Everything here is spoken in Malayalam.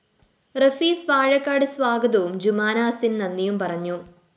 റഫീസ് വാഴക്കാട് സ്വാഗതവും ജുമാന അസിന്‍ നന്ദിയും പറഞ്ഞു